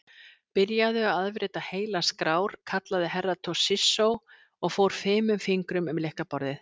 Byrjaðu að afrita heilar skrár, kallaði Herra Toshizo og fór fimum fingrum um lylkaborðið.